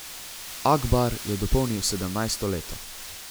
Akbar je dopolnil sedemnajsto leto.